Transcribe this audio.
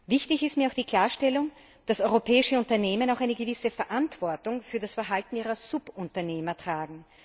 Wichtig ist mir auch die Klarstellung, dass europäische Unternehmen auch eine gewisse Verantwortung für das Verhalten ihrer Subunternehmer tragen.